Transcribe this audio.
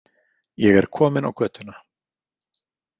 Ég er komin á götuna.